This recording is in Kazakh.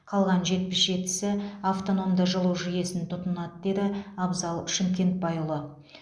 қалған жетпіс жетісі автономды жылу жүйесін тұтынады деді абзал шымкентбайұлы